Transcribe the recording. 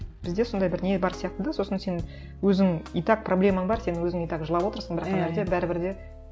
бізде сондай бір не бар сияқты да сосын сен өзің итак проблемаң бар сен өзің итак жылап отырсың бірақ ана жерде бәрібір де